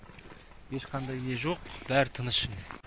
ешқандай не жоқ бәрі тыныш